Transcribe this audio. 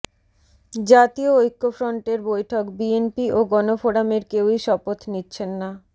জাতীয় ঐক্যফ্রন্টের বৈঠক বিএনপি ও গণফোরামের কেউই শপথ নিচ্ছেন না